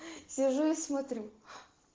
сижу и смотрю